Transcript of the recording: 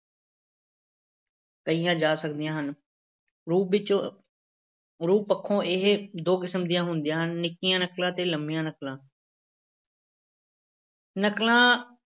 ਕਹੀਆਂ ਜਾ ਸਕਦੀਆਂ ਹਨ, ਰੂਪ ਵਿੱਚੋਂ ਰੂਪ ਪੱਖੋਂ ਇਹ ਦੋ ਕਿਸਮ ਦੀਆਂ ਹੁੰਦੀਆਂ ਹਨ ਨਿੱਕੀਆਂ ਨਕਲਾਂ ਤੇ ਲੰਮੀਆਂ ਨਕਲਾਂ ਨਕਲਾਂ